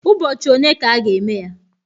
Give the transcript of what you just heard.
Ụbọchị one ka a ga-eme ya?